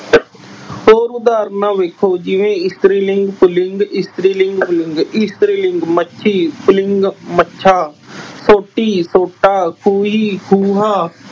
ਹੋਰ ਉਦਾਹਰਣਾਂ ਵੇਖੋ। ਜਿਵੇਂ ਇਸਤਰੀ ਲਿੰਗ ਪੁਲਿੰਗ, ਇਸਤਰੀ ਲਿੰਗ ਪੁਲਿੰਗ, ਇਸਤਰੀ ਲਿੰਗ, ਮੱਛੀ, ਪੁਲਿੰਗ ਮੱਛਾ, ਸੋਟੀ, ਸੋਟਾ, ਖੂਹੀ, ਖੂਹਾ।